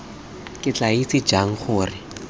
ke tla itse jang gore